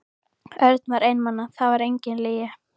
Örn var einmana, það var engin lygi.